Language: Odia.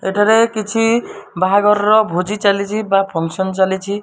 ଏଠାରେ କିଛି ବାହାଘରର ଭୋଜି ଚାଲିଛି ବା ଫଙ୍କସନ ଚାଲିଛି।